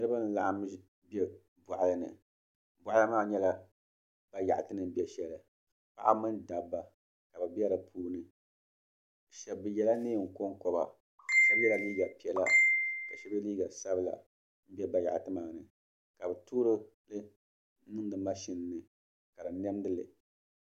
Niriba n-laɣim be bɔɣili ni bɔɣili maa nyɛla bayaɣiti ni be shɛli paɣiba mini dabba ka bɛ be di puuni bɛ yɛla neen' kɔŋkɔba shɛba yɛla liiga piɛla ka shɛba ye liiga sabila m-be bayaɣiti maa ni ka bɛ toori bini n-niŋdi mashin ni ka di niɛmdi li